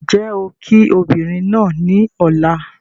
N jẹ́ ó kii ọmọbìnrin náà ni Ọ̀la.